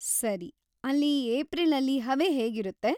ಸರಿ. ಅಲ್ಲಿ ಏಪ್ರಿಲಲ್ಲಿ ಹವೆ ಹೇಗಿರುತ್ತೆ?